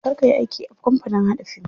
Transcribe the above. Kar kayi aiki a kamapanin haɗa fim.